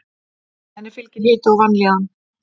Henni fylgir hiti og vanlíðan.